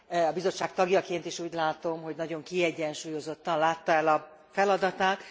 A bizottság tagjaként is úgy látom, hogy nagyon kiegyensúlyozottan látta el a feladatát.